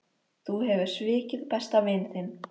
Þú hefur svikið besta vin þinn.